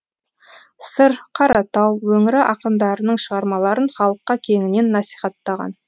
сыр қаратау өңірі ақындарының шығармаларын халыққа кеңінен насихаттаған